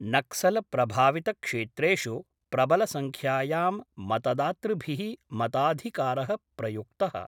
नक्सलप्रभावितक्षेत्रेषु प्रबलसंख्यायां मतदातृभिः मताधिकार प्रयुक्त:।